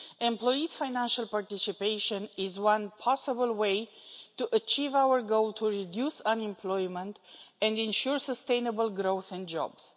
Employee financial participation is one possible way to achieve our goal to reduce unemployment and ensure sustainable growth and jobs.